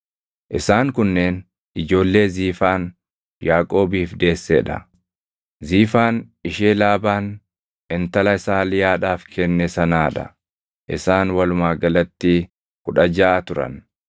Isaan kunneen ijoollee Ziifaan Yaaqoobiif deessee dha. Ziifaan ishee Laabaan intala isaa Liyaadhaaf kenne sanaa dha. Isaan walumaa galatti kudha jaʼa turan.